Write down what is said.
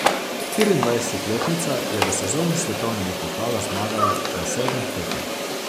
Štiriindvajsetletnica je v sezoni svetovnega pokala zmagala na sedmih tekmah.